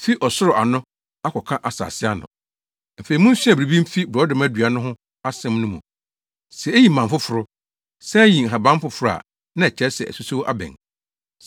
“Afei munsua biribi mfi borɔdɔma dua no ho asɛm no mu. Sɛ eyi mman foforo, san yi nhaban foforo a, na ɛkyerɛ sɛ asusow abɛn.